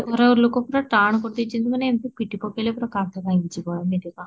ଘ ଲୋକ ପୁରା ଟାଣ କରି ଦେଇଛନ୍ତି ମାନେ ପିଟି ପକେଇଲେ ପୁରା କାନ୍ଥ ଭାଙ୍ଗି ଯିବ ଏମିତିକା